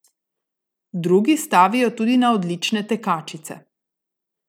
Drugi stavijo tudi na odlične tekačice.